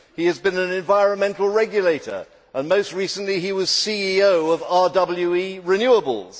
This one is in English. He has been an environmental regulator and most recently he was CEO of RWE Renewables.